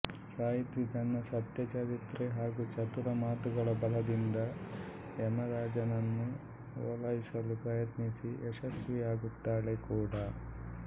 ಸಾವಿತ್ರಿ ತನ್ನ ಸತ್ಯ ಚಾರಿತ್ರ್ಯ ಹಾಗೂ ಚತುರ ಮಾತುಗಳ ಬಲದಿಂದ ಯಮರಾಜನನ್ನು ಒಲೈಸಲು ಪ್ರಯತ್ನಿಸಿ ಯಶಸ್ವಿಯಾಗುತ್ತಾಳೆ ಕೂಡ